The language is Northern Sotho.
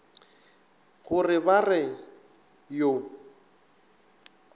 go re ba re yo